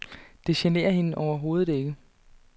Det generer hende overhovedet ikke.